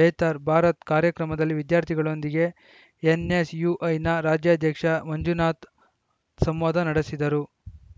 ಬೆಹ್ತಾರ್‌ ಭಾರತ್‌ಕಾರ್ಯಕ್ರಮದಲ್ಲಿ ವಿದ್ಯಾರ್ಥಿಗಳೊಂದಿಗೆ ಎನ್‌ಎಸ್‌ಯುಐನ ರಾಜ್ಯಾಧ್ಯಕ್ಷ ಮಂಜುನಾಥ ಸಂವಾದ ನಡೆಸಿದರು